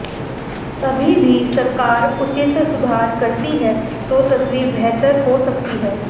अभी भी सरकार उचित सुधार करती है तो तस्वीर बेहतर हो सकती है